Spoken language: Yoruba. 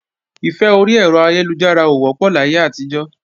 Ìfẹ́ orí ẹ̀rọ ayélujára ò wọ́pọ̀ láyé àtijọ́